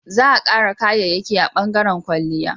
Za a kara kayayyaki a bangaren kwalliya